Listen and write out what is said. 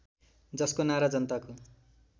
जसको नारा जनताको